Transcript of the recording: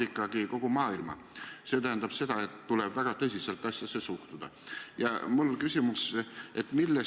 Ma tean, et selle kooli lapsevanemad on öelnud, et nad väga soovivad, et kui kool avatakse, siis enne on teada, et võetud testid ja muud proovid oleksid negatiivsed.